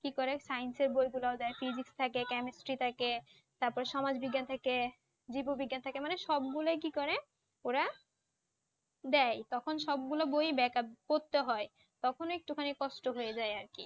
কি করে science এর বইগুলা ও দেয়, physics থাকে, chemistry থাকে, তারপর সমাজ বিজ্ঞান থাকে, জীব বিজ্ঞান থাকে মানে সব গুলই কি করে ওরা দেয়, তখন সবগুলো বই দেয় কারণ পড়তে হয়, তখন একটুখানি কস্ত হয়ে যায় আর কি।